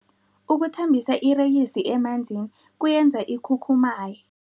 Ukuthambisa ireyisi emanzini kuyenza ikhukhumaye.